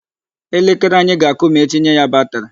Elekere anyị ga-akụ ma etinye ya batri.